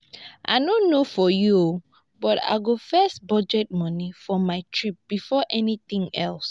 i no know for you but i go first budget money for my trip before anything else